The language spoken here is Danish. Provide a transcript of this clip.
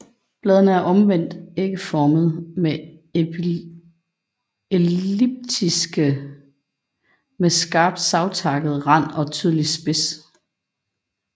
Bladene er omvendt ægformede eller elliptiske med skarpt savtakket rand og tydelig spids